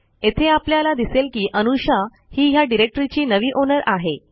येथे आपल्याला दिसेल की अनुषा ही ह्या डिरेक्टरीची नवी ओनर आहे